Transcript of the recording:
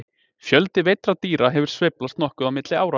Fjöldi veiddra dýra hefur sveiflast nokkuð á milli ára.